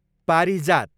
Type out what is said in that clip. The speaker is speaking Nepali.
पारिजात